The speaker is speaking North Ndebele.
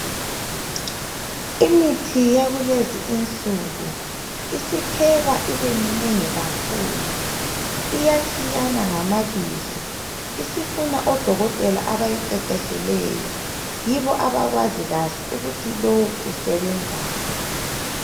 imithi yakulezi insuku isiphekwa ibe minengi kakhulu iyatshiyana ngamabizo isifuna odokotela abayiqeqetshileyo yibo abakwazi kahle ukuthi lowu usebenzani